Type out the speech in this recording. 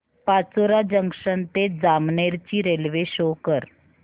Pachora junction ते जामनेर ची railway show कर